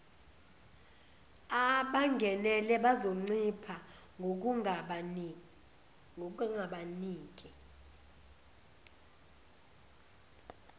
abangenele bazoncipha ngokungabaniki